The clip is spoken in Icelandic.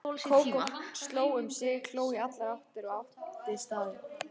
Kókó sló um sig, hló í allar áttir og átti staðinn.